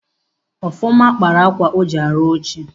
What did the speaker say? Ọfọma kpaara akwa o ji arụ oche.